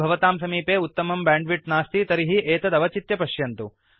यदि भवतां समीपे उत्तमं बैण्डविड्थ नास्ति तर्हि एतत् अवचित्य पश्यन्तु